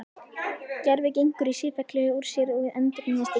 Gervið gengur í sífellu úr sér og endurnýjast illa.